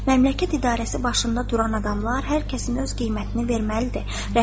Məmləkət idarəsi başında duran adamlar hər kəsin öz qiymətini verməlidir.